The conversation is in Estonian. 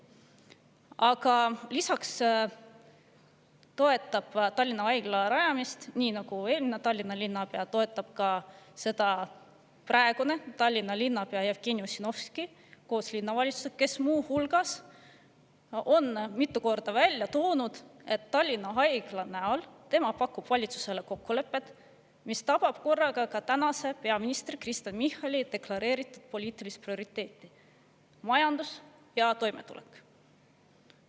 Aga lisaks toetab Tallinna Haigla rajamist nii nagu eelmine Tallinna linnapea ka praegune Tallinna linnapea Jevgeni Ossinovski koos linnavalitsusega, kes muu hulgas on mitu korda välja toonud, et tema pakub valitsusele Tallinna Haigla puhul kokkulepet, mis tabab korraga tänase peaministri Kristen Michali deklareeritud poliitilist prioriteeti: majandus ja toimetulek.